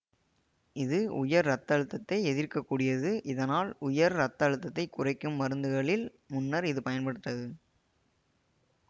இது உயர் இரத்த அழுத்தத்தை எதிர்க்கக்கூடியது இதனால் உயர் இரத்த அழுத்தத்தை குறைக்கும் மருந்துகளில் முன்னர் இது பயன்பட்டது